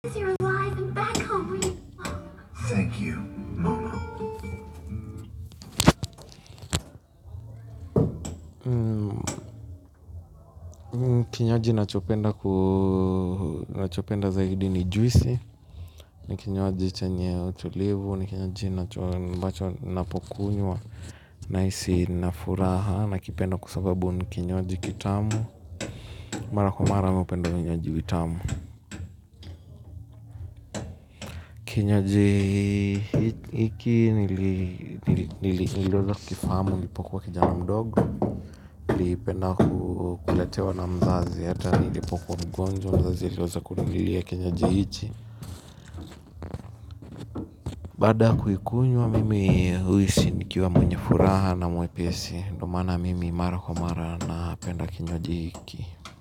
Ninachopenda zaidi ni juisi ni kinywaji chenye utulivu ni kinywaji ninacho ambacho ninapokunywa nahisi nina furaha nakipenda kwa sababu ni kinywaji kitamu mara kwa mara mi hupenda vinywaji vitamu kinywaji hiki niliweza kukifahamu nilipokuwa kijana mdogo nilipenda kuletewa na mzazi hata nilipokuwa mgonjwa wazazi waliweza kuninunulia kinywaji hiki baada kuikunywa mimi huhisi nikiwa mwenye furaha na mwepesi. Ndio maana mimi mara kwa mara napenda kinywaji hiki.